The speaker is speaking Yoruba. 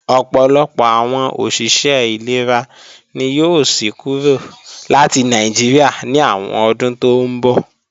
Ọ̀pọ̀lọpọ̀ àwọn òṣìṣẹ́ ìlera ni yóò sí kúrò láti Nàìjíríà ní àwọn ọdún tó ńbọ̀